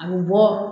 A bɛ bɔ